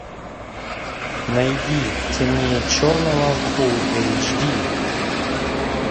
найди темнее черного фул эйч ди